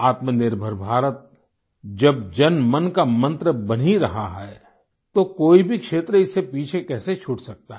आत्मनिर्भर भारत जब जनमन का मन्त्र बन ही रहा है तो कोई भी क्षेत्र इससे पीछे कैसे छूट सकता है